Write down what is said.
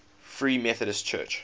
free methodist church